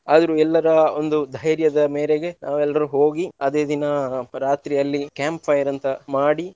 ಆದ್ರೂ ಎಲ್ಲರ ಒಂದು ಧೈರ್ಯದ ಮೇರೆಗೆ ನಾವೆಲ್ರು ಹೋಗಿ ಅದೇ ದಿನ ರಾತ್ರಿ ಅಲ್ಲಿ camp fire ಅಂತ ಮಾಡಿ.